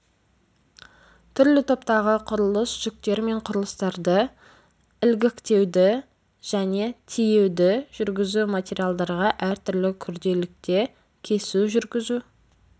түрлі топтағы құрылыс жүктер мен құрылыстарды ілгіктеуді және тиеуді жүргізу металдарға әртүрлі күрделілікте кесу жүргізу